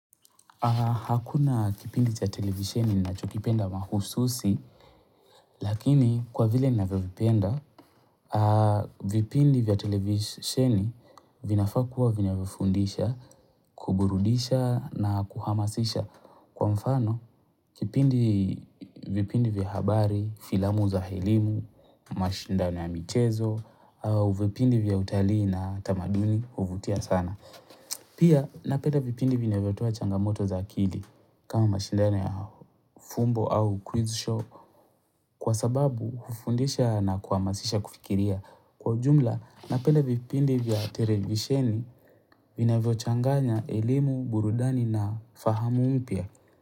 Hakuna kipindi cha televisheni ninacho kipenda mahususi, lakini kwa vile ninavyovipenda, vipindi vya televisheni vinafaa kuwa vinavifundisha, kuburudisha na kuhamasisha kwa mfano. Kipindi vipindi vya habari, filamu za elimu, mashindano ya michezo, vipindi vya utalii na tamaduni, huvutia sana. Pia napeda vipindi vinavyo toa changamoto za akili kama mashindano ya fumbo au quiz show kwa sababu hufundisha na kuhamasisha kufikiria. Kwa ujumla napenda vipindi vya televisheni vinavyo changanya elimu burudani na fahamu mpya.